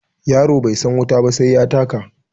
Yaro bai san wuta ba sai ya taka.